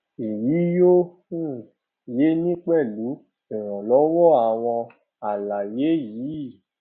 èyí yóò um yé ni pẹlú ìrànlọwọ àwọn àlàyé yìí